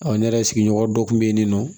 ne yɛrɛ sigiɲɔgɔn dɔ kun bɛ yen nɔ